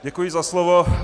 Děkuji za slovo.